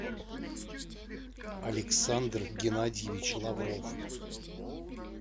александр геннадьевич лавров